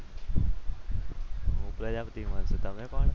હું તો છું કોણ તમે?